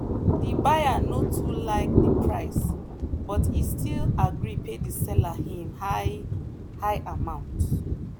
the buyer no too like the price but e still gree pay the seller him high-high amount.